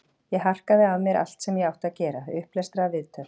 Ég harkaði af mér allt sem ég átti að gera, upplestra, viðtöl.